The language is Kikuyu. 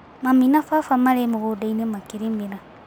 Mami na baba marĩ mũgundainĩ makĩrĩmĩra.